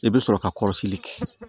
I bɛ sɔrɔ ka kɔlɔsili kɛ